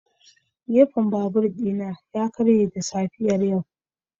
Gefen babur ɗina ya karye da safiyar yau.